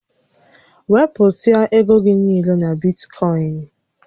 Wepụsịa égo gị niile na Bitkọịn!